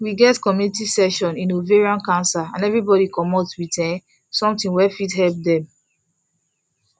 we get community session in ovarian cancer and everybody commot with um something wey fit help dem